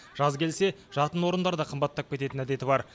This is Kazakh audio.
жаз келсе жатын орындар да қымбаттап кететін әдеті бар